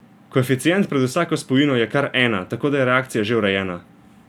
Koeficient pred vsako spojino je kar ena, tako da je reakcija že urejena.